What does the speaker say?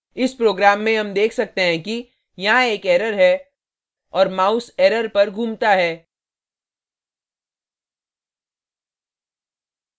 इस program में हम देख सकते हैं कि यहाँ एक error है और mouse error पर घूमता है